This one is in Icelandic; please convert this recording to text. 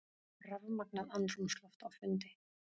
Rafmagnað andrúmsloft á fundi